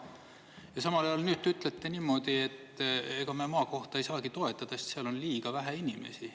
Ja samal ajal nüüd te ütlete niimoodi, et ega me maakohta ei saagi toetada, sest seal on liiga vähe inimesi.